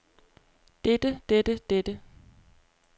dette dette dette